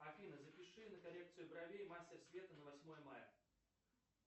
афина запиши на коррекцию бровей мастер света на восьмое мая